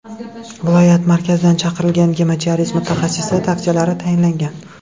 Viloyat markazidan chaqirilgan gemodializ mutaxassisi tavsiyalari tayinlangan.